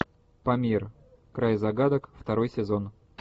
памир край загадок второй сезон